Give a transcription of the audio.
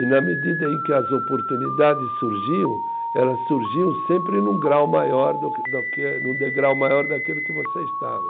E na medida em que as oportunidades surgiam, elas surgiam sempre num grau maior do quê do quê, num degrau maior daquele que você estava.